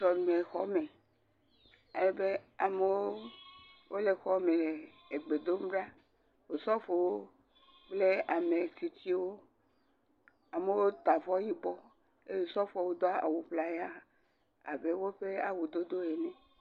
Sɔlemexɔ me, amewo le xɔ me le gbe dom ɖa, Osɔfowo klpl ametsitsiwo amewo ta avɔ yibɔ eye osofo do awu ŋlaya abe woƒe awu dodowo ene.